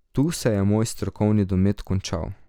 Tu se je moj strokovni domet končal.